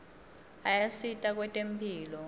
ayasita kwetemphilo